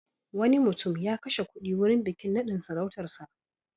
Wani mutum ya kashe kuɗi wurin bikin naɗin sarautarsa.